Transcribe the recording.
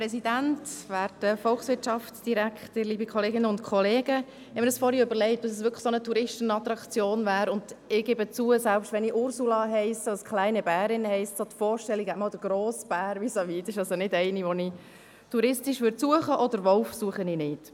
Ich habe mir vorhin überlegt, ob dies wirklich eine solche Touristenattraktion wäre, und ich gebe zu, selbst wenn ich Ursula heisse, also kleine Bärin, ist die Vorstellung eines grossen Bären vis-à-vis keine, die ich touristisch suchen würde, und auch den Wolf suche ich nicht.